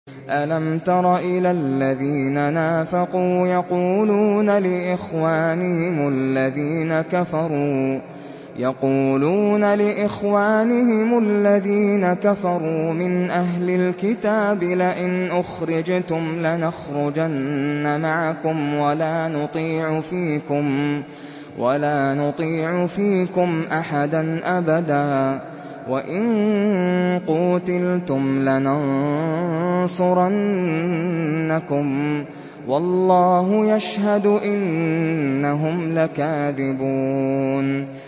۞ أَلَمْ تَرَ إِلَى الَّذِينَ نَافَقُوا يَقُولُونَ لِإِخْوَانِهِمُ الَّذِينَ كَفَرُوا مِنْ أَهْلِ الْكِتَابِ لَئِنْ أُخْرِجْتُمْ لَنَخْرُجَنَّ مَعَكُمْ وَلَا نُطِيعُ فِيكُمْ أَحَدًا أَبَدًا وَإِن قُوتِلْتُمْ لَنَنصُرَنَّكُمْ وَاللَّهُ يَشْهَدُ إِنَّهُمْ لَكَاذِبُونَ